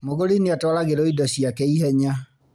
Mũgũri nĩatwaragĩrwo indo ciake ihenya